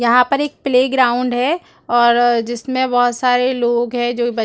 यहाँ पर एक प्ले ग्राउंड है और जिसमे बोहत सारे लोग है जो बच--